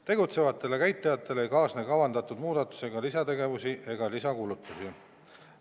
Tegutsevatele käitlejatele ei kaasne kavandatud muudatusega lisategevusi ega lisakulutusi.